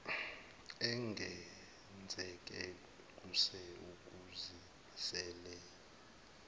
engenzeke kuse ukuzimiseleni